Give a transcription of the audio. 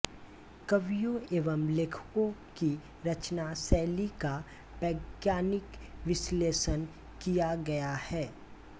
कवियों एवं लेखकों की रचना शैली का वैज्ञानिक विश्लेषण किया गया है